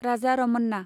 Raja Ramanna